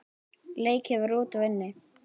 Leikið var úti og inni.